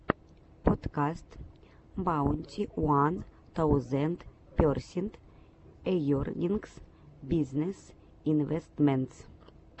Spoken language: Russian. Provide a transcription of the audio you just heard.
подкаст баунти уан таузенд персент эернингс бизнесс инвэстментс